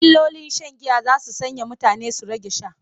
Illolin shan giya za su sanya mutane su rage sha.